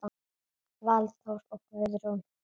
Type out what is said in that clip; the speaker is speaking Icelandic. Valþór og Guðrún.